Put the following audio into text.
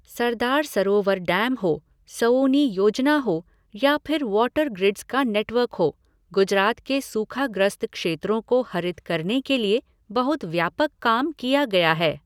सरदार Sarovar dam हो, सौउनी योजना हो या फिर वॉटर ग्रिड्स का नेटवर्क हो, गुजरात के सूखाग्रस्त क्षेत्रों को हरित करने के लिए बहुत व्यापक काम किया गया है।